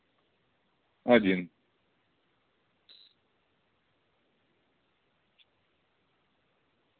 один